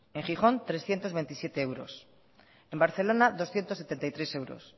en gijón de trescientos veintisiete euros en barcelona doscientos setenta y tres euros